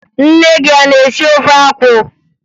Nne gị a na-esi ofe akwụ?